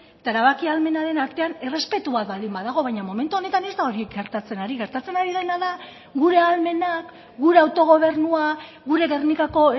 eta erabaki ahalmenaren artean errespetua baldin badago baina momentu honetan ez da hori gertatzen ari gertatzen ari dena da gure ahalmenak gure autogobernua gure gernikako